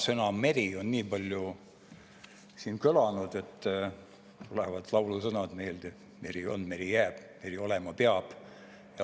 Täna on siin sõna "meri" kõlanud juba nii palju, et tulevad meelde laulusõnad "Meri on, meri jääb, meri olema peab".